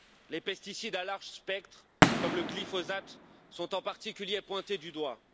Les pesticides à large spectre, comme le glyphosate, sont en particulier pointés du doigt.